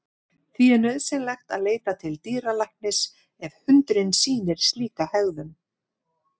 Því er nauðsynlegt að leita til dýralæknis ef hundurinn sýnir slíka hegðun.